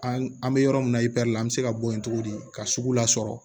An bɛ yɔrɔ min na i pɛrɛn la an bɛ se ka bɔ yen togo di ka sugu lasɔrɔ